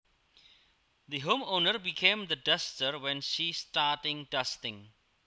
The homeowner became the duster when she starting dusting